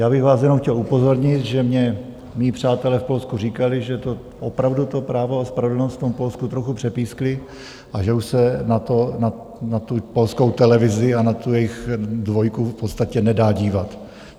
Já bych vás jenom chtěl upozornit, že mně mí přátelé v Polsku říkali, že to opravdu to Právo a spravedlnost v Polsku trochu přepísklo a že už se na tu polskou televizi a na tu jejich dvojku v podstatě nedá dívat.